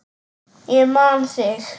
Ég man þig!